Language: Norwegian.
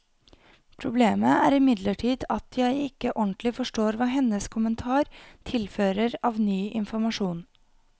Problemet er imidlertid at jeg ikke ordentlig forstår hva hennes kommentar tilfører av ny informasjon.